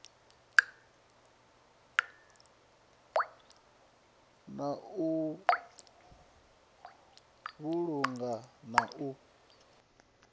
na u vhulunga na u